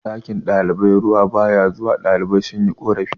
ɗakin ɗalibai ruwa ba ya zuwa ɗalibai sun yi korafi